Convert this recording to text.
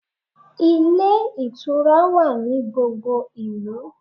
Ilé ìtura wa ní gbogbo ìlú